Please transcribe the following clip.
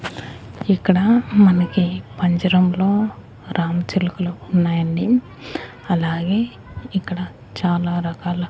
ఇక్కడ మనకి పంజరంలో రామచిలుకలు ఉన్నాయండి అలాగే ఇక్కడ చాలా రకాల--